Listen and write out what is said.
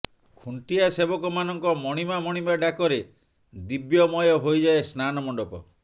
ଖୁଣ୍ଟିଆ ସେବକ ମାନଙ୍କ ମଣିମା ମଣିମା ଡାକ ରେ ଦିବ୍ୟ ମୟ ହୋଇଯାଏ ସ୍ନାନ ମଣ୍ଡପ